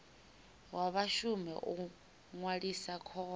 wa vhashumi u ṅwalisa khoro